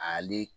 Ale